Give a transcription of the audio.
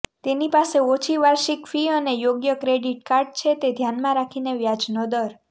તેની પાસે ઓછી વાર્ષિક ફી અને યોગ્ય ક્રેડિટ કાર્ડ છે તે ધ્યાનમાં રાખીને વ્યાજનો દર